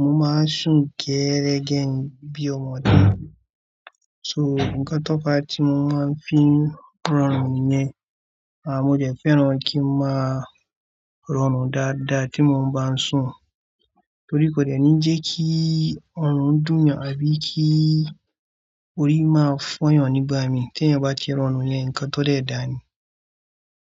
mo máa sùn gẹ́rẹ́gẹ̀n bí ọmọdé. So, ǹkan tó pa tí mo máa ń fi ń rọrùn yẹn, àmọ́ mo dẹ̀ fẹ́ràn kí ń máa rọrùn dáadáa tí mo bá ń sùn, torí kò dẹ̀ ní jẹ́ kí ọrùn dùn mí àbí kí orí máa fọ́yàn nígbà mi. Tí eẹ̀yan bá ti rọrùn yẹn, ǹkan tó dẹ̀ dáa ni.